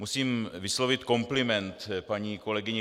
Musím vyslovit kompliment paní kolegyni